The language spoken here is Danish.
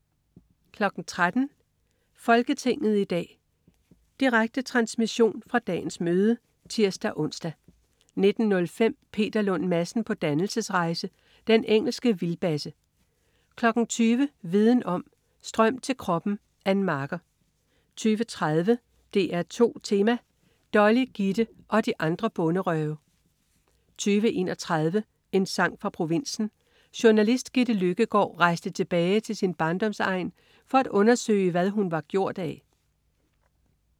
13.00 Folketinget i dag. Direkte transmission fra dagens møde (tirs-ons) 19.05 Peter Lund Madsen på dannelsesrejse. Den engelske vildbasse 20.00 Viden om: Strøm til kroppen. Ann Marker 20.30 DR2 Tema: Dolly, Gitte og de andre bonderøve 20.31 En sang fra provinsen. Journalist Gitte Løkkegaard rejste tilbage til sin barndomsegn for at undersøge, hvad hun var gjort af